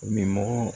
Min mogo